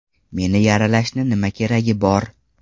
Meni yaralashni nima keragi bor?